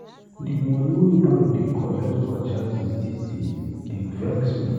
Di moni wey bank dey collect for charges dese days dey vex me.